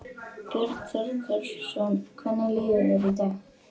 Björn Þorláksson: Hvernig líður þér í dag?